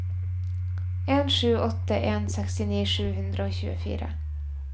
en sju åtte en sekstini sju hundre og tjuefire